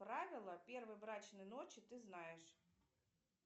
правила первой брачной ночи ты знаешь